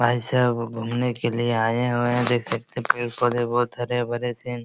आए सब घूमने के लिए आए हुए हैं देख सकते हैं पेड़-पौधे बहोत हरे-भरे सेन --